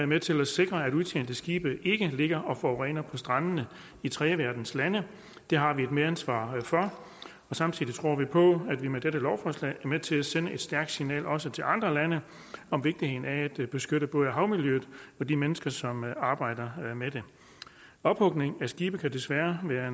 med til at sikre at udtjente skibe ikke ligger og forurener på strandene i tredjeverdenslande det har vi et medansvar for samtidig tror vi på at vi med dette lovforslag er med til at sende et stærkt signal også til andre lande om vigtigheden af at beskytte både havmiljøet og de mennesker som arbejder med det ophugning af skibe kan desværre være